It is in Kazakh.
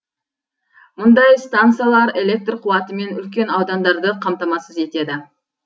мұндай стансалар электр қуатымен үлкен аудандарды қамтамасыз етеді